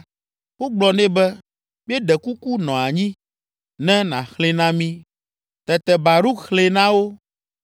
Wogblɔ nɛ be, “Míeɖe kuku nɔ anyi, ne nàxlẽe na mí.” Tete Baruk xlẽe na wo.